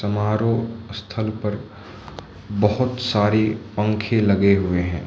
समारोह स्थल पर बहोत सारे पंखे लगे हुए हैं।